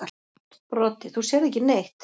Broddi: Þú sérð ekki neitt.